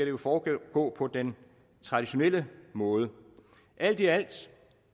jo foregå på den traditionelle måde alt i alt